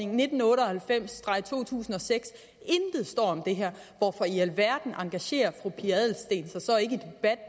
nitten otte og halvfems to tusind og seks intet står om det her hvorfor i alverden engagerer fru pia adelsteen sig så ikke